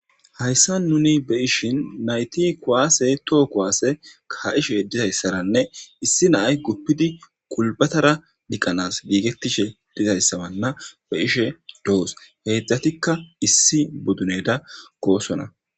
hayssa nuni be ishin nayti kwaase too kuwaase ka7ishe dizayssaranne issi naay guppidi kulbatara diqqanas giigettishe dizayssabanna be ishe doos heedzdzatikka issi boduneda koosona